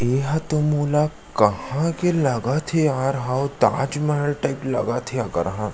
ये ह तो मोला कहा के लगत हे यार हउ ताजमहल टाइप लगत हे अगर ह --